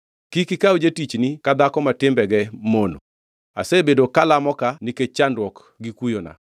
Kik ikaw jatichni ka dhako ma timbege mono. Asebedo kalamo ka nikech chandruok gi kuyona.